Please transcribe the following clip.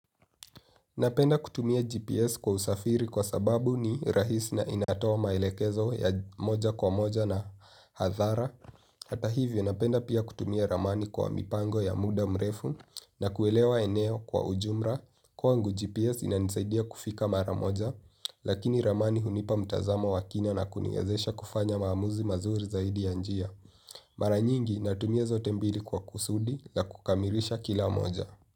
Napenda kutumia GPS kwa usafiri kwa sababu ni rahisi na inatoa maelekezo ya moja kwa moja na hadhara. Hata hivyo napenda pia kutumia ramani kwa mipango ya muda mrefu na kuelewa eneo kwa ujumra. Kwangu GPS ina nisaidia kufika mara moja lakini ramani hunipa mtazamo wa kina na kuniezesha kufanya maamuzi mazuri zaidi ya njia. Mara nyingi natumia zote mbili kwa kusudi la kukamirisha kila moja.